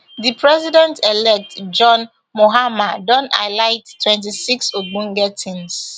di presidentelect john mahama don highlight twenty-six ogbonge tins